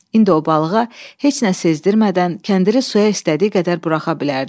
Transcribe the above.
İndi o balığa heç nə sezdirədən kəndiri suya istədiyi qədər buraxa bilərdi.